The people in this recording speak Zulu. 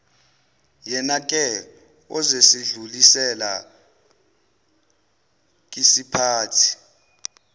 yenake ozosedlulisela wkisiphathi